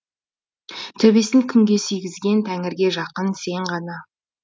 төбесін күнге сүйгізген тәңірге жақын сен ғана